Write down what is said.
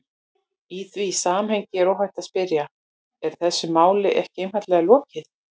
Í því samhengi er óhætt að spyrja: Er þessu máli ekki einfaldlega lokið?